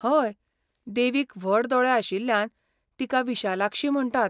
हय, देवीक व्हड दोळे आशिल्ल्यान तिका विशालाक्षी म्हण्टात.